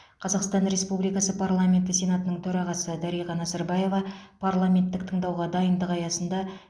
қазақстан республикасы парламенті сенатының төрағасы дариға назарбаева парламенттік тыңдауға дайындық аясында